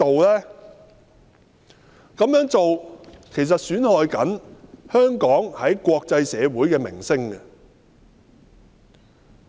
這樣做正損害香港在國際社會的名聲。